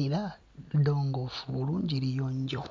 era ddongoofu bulungi liyonjo.